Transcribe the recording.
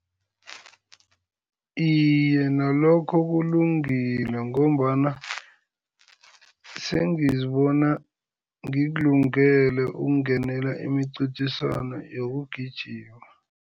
Iye, nalokho kulungile ngombana sengizibona ngikulungele ukungenela imincintiswano yokugijima.